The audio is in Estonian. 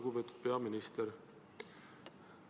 Lugupeetud peaminister!